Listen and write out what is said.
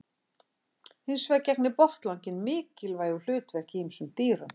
Hins vegar gegnir botnlanginn mikilvægu hlutverki í ýmsum dýrum.